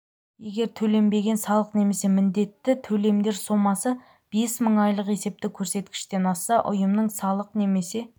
егер төленбеген салық немесе міндетті төлемдер сомасы бес мың айлық есептік көрсеткіштен асса ұйымның салық немесе